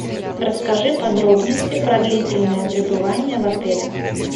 расскажи подробности про длительное пребывание в отеле